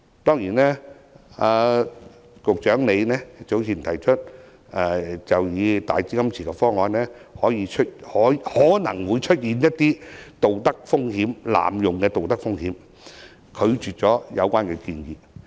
當然，局長早前以"大基金池"方案可能會出現濫用的道德風險，拒絕有關建議。